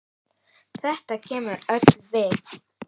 Þetta kemur okkur öllum við.